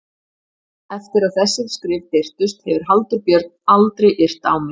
Eftir að þessi skrif birtust hefur Halldór Björn aldrei yrt á mig.